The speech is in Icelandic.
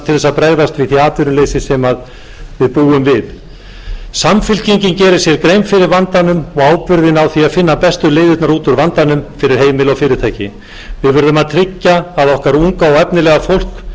að bregðast við því atvinnuleysi sem við búum við samfylkingin gerir sér grein fyrir vandanum og ábyrgðinni á því að finna bestu leiðirnar út úr vandanum fyrir heimili og fyrirtæki við verðum að tryggja að okkar unga og efnilega fólk geti stundað